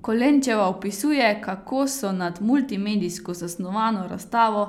Kolenčeva opisuje, kako so nad multimedijsko zasnovano razstavo